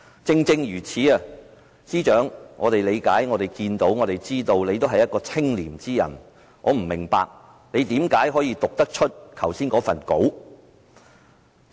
正正如此，我們理解到、看到，也知道司長也是一個清廉的人，我不明白他為何可以讀出剛才那篇講稿？